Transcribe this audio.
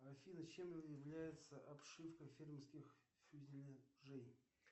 афина чем является обшивка фермерских фюзеляжей